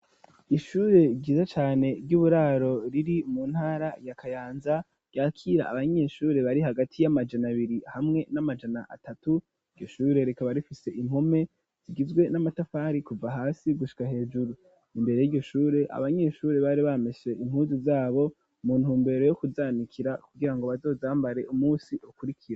Ishure ryiza cane ry'uburaro riri mu ntara ya Kayanza, ryakira abanyeshure bari hagati y'amajana abiri hamwe n'amajana atatu, iryo shure rikaba rifise impome zigizwe n'amatafari kuva hasi gushika hejuru. Imbere y'iryo shure, abanyeshure bari bameshe impuzu zabo, mu ntumbero yo kuzanikira kugirango bazozambare umunsi ukurikiro.